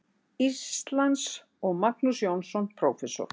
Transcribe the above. Íslands, og Magnús Jónsson, prófessor.